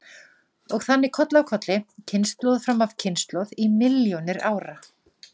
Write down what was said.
Og þannig koll af kolli, kynslóð fram af kynslóð í milljónir ára.